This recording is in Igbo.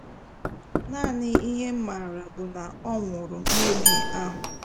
Naanị ihe m maara bụ na ọ nwụrụ n’ogu ahụ